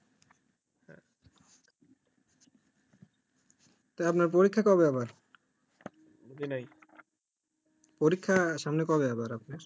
তা আপনার পরীক্ষা কবে আবার? পরীক্ষা সামনে কবে আবার আপনার?